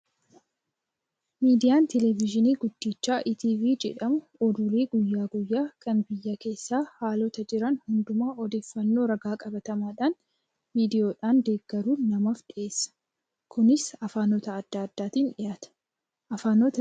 Miidiyaan televezyiinii guddichi Iitiivii jedhamu oduulee guyyaa guyyaa kan biyya keessaa haalota jiran hundumaa odeeffannoo ragaa qabatamaadhaan viidiyoodhaan deeggaruun namaaf dhiyeessa. Kunis afaanota adda addaatiin dhiyaata. Afaanota miidiyaan Kun ittiin gabaasu meeqa?